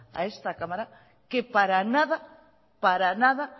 a esta cámara que para nada